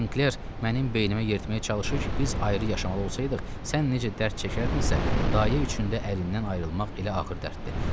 Senkler mənim beynimə yeritməyə çalışır ki, biz ayrı yaşamalı olsaydıq, sən necə dərd çəkərdinsə, dayı üçün də ərindən ayrılmaq elə ağır dərddir.